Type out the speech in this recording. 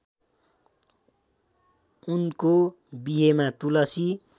उनको बिहेमा तुलसी